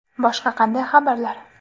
Boshqa qanday xabarlar?